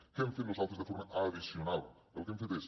què hem fet nosaltres de forma addicional el que hem fet és